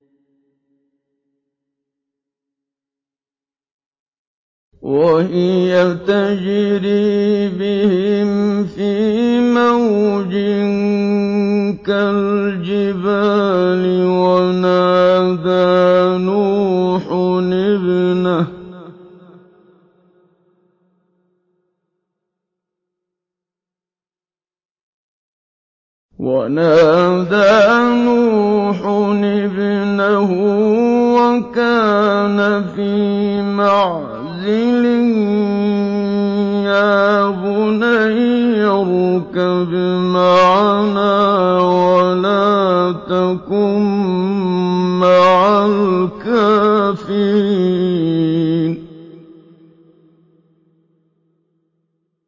وَهِيَ تَجْرِي بِهِمْ فِي مَوْجٍ كَالْجِبَالِ وَنَادَىٰ نُوحٌ ابْنَهُ وَكَانَ فِي مَعْزِلٍ يَا بُنَيَّ ارْكَب مَّعَنَا وَلَا تَكُن مَّعَ الْكَافِرِينَ